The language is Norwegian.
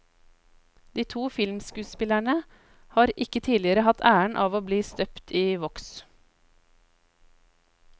De to filmskuespillerne har ikke tidligere hatt æren av å bli støpt i voks.